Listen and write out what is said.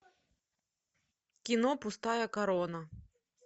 кино пустая корона